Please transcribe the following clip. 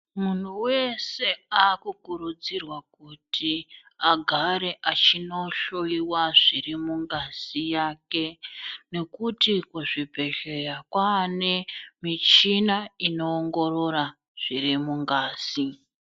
Munhu weshe akukurudzirwa kuti agare achinohloyiwa zviri mungazi yake nekuti kuzvibhedhleya kwane michina inoongorora zviri mungazi.